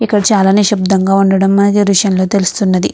ఇక్కడ చాల నిశ్శబ్దంగా ఉండడం మనకి ఈ దృశ్యం లో తెలుస్తున్నది.